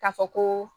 K'a fɔ ko